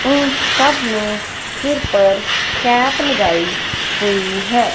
इन सब ने सिर पर कैप लगाई हुई है।